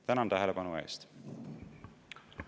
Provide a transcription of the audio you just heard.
Tänan tähelepanu eest!